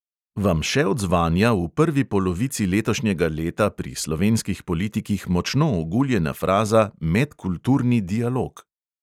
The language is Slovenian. Vam še odzvanja v prvi polovici letošnjega leta pri slovenskih politikih močno oguljena fraza medkulturni dialog?